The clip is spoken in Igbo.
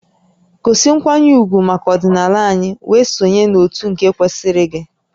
Gosi nkwanye ugwu maka ọdịnala anyị wee sonye n'òtù nke kwesịrị gị!